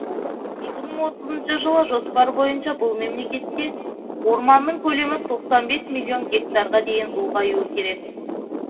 екі мың отызыншы жылы жоспар бойынша бұл мемлекетте орманның көлемі тоқсан бес миллион гектарға дейін ұлғаюы керек